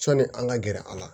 Sɔni an ka gɛrɛ a la